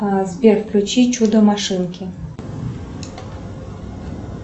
сбер включи чудо машинки